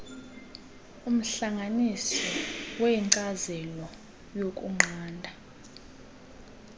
umhlanganisi wenkcazelo yokunqanda